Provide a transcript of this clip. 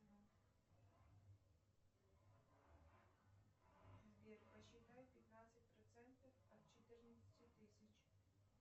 сбер посчитай пятнадцать процентов от четырнадцати тысяч